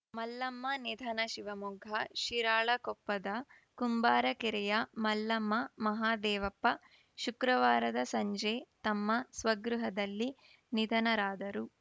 ಮಲ್ಲಮ್ಮ ನಿಧನ ಶಿವಮೊಗ್ಗ ಶಿರಾಳಕೊಪ್ಪದ ಕುಂಬಾರಕೆರೆಯ ಮಲ್ಲಮ್ಮ ಮಹಾದೇವಪ್ಪ ಶುಕ್ರವಾರದ ಸಂಜೆ ತಮ್ಮ ಸ್ವಗೃಹದಲ್ಲಿ ನಿಧನರಾದರು